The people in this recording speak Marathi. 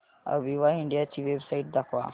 अविवा इंडिया ची वेबसाइट दाखवा